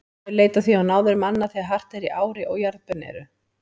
Þeir leita því á náðir manna þegar hart er í ári og jarðbönn eru.